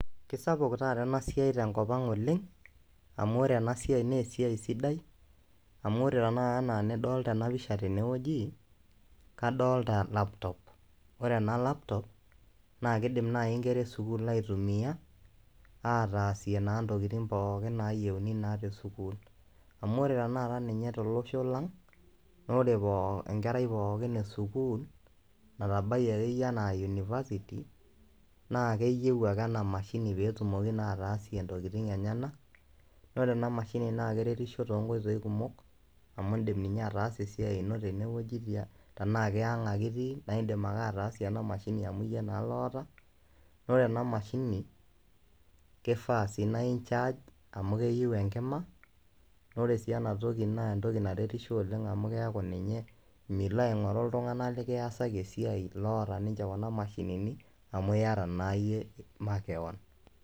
Kesapuk taata ena siai te nkop ang' oleng' amu ore ena siai naa esiai sidai amu ore tenakata naa enidoolta ena picha tene wueji, kadolta laptop. Ore ena laptop, naake idim nai nkera e sukuul aitumia ataasie naa ntokitin pookin nayeuni naa te sukuul amu ore tenakata ninye tolosho lang' naa ore pooki enkerai pookin e sukuul natabayie akeyie enaa university, naa akeyeu ake ena mashini peetumoki naa ataasie ntokitin enyenak naa ore ena mashini naake eretisho too nkoiitoi kumok amu indim ninye ataasie esiai ino tene wueji tiang' tenaake aang' ake itii ane indim ake ataasie ena mashini amu iyie naa loota. Naa ore ena mashini, kifaa sii naa incharge amu keyeu enkima na ore sii ena toki naa entoki naretisho oleng' amu keyaku ninye milo aing'oru iltung'anak lekiasaki esiai loota ninje kuna mashinini amu iyata naa iyie makeon.